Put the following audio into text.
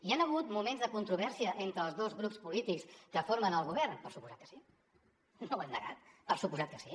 hi han hagut moments de controvèrsia entre els dos grups polítics que formen el govern per descomptat que sí no ho hem negat per descomptat que sí